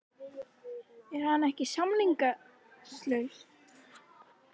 Er hann ekki samningslaus?